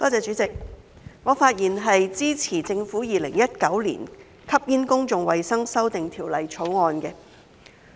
主席，我發言支持政府《2019年吸煙條例草案》。